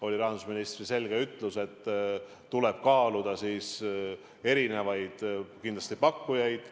Oli rahandusministri selge ütlus, et kindlasti tuleb kaaluda erinevaid pakkujaid.